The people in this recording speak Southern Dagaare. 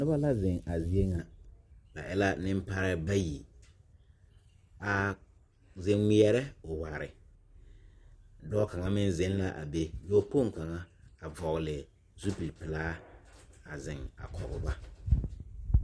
Noba la zeŋ a zie ŋa ba e la nemparɛɛ bayi a zeŋ ŋmeɛrɛ oware dɔɔ kaŋ meŋ zeŋ la a be dɔɔkpoŋ kaŋa a vɔgle zupilipelaa a zeŋ a kɔge ba.